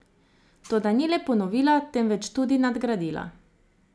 Toda ni le ponovila, temveč tudi nadgradila.